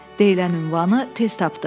Deyilən ünvanı tez tapdı.